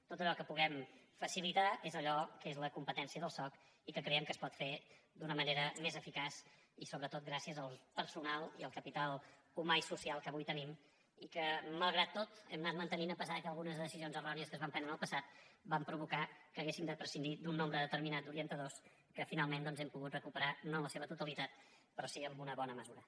tot allò que puguem facilitar és allò que és la competència del soc i que creiem que es pot fer d’una manera més eficaç i sobretot gràcies al personal i al capital humà i social que avui tenim i que malgrat tot hem anat mantenint a pesar que algunes decisions errònies que es van prendre en el passat van provocar que haguéssim de prescindir d’un nombre determinat d’orientadors que finalment doncs hem pogut recuperar no en la seva totalitat però sí en una bona mesura